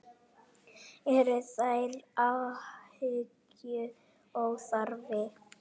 Eru þær áhyggjur óþarfi?